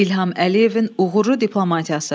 İlham Əliyevin uğurlu diplomatiyası.